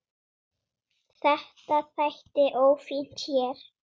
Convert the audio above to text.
Þetta þætti ófínt hér.